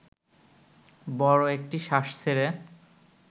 বড় একটি শ্বাস ছেড়ে